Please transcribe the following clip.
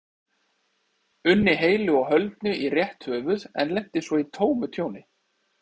unni heilu og höldnu í rétt höfuð en lenti svo í tómu tjóni.